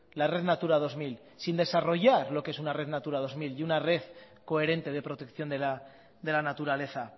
la red natura dos mil sin desarrollar lo que es una red natura dos mil y una red coherente de protección de la naturaleza